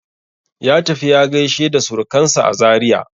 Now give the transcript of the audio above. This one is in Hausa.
Ya tafi ya gaishe da surkansa a Zaria.